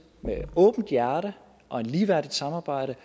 med åbent hjerte og et ligeværdigt samarbejde